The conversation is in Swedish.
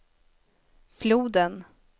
floden